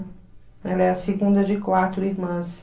Ela é a segunda de quatro irmãs.